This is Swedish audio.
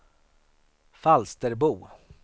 Falsterbo